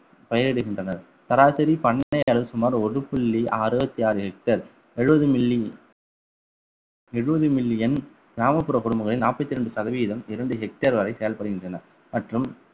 பயிரிடுகின்றனர் சராசரி பண்ணை அளவில் சுமார் ஒரு புள்ளி அறுவத்தி ஆறு hectare எழுபது milli எழுபது million கிராமப்புற குடும்பங்களில் நாற்பத்தி இரண்டு சதவீதம் இரண்டு hectare வரை செயல்படுகின்றன மற்றும்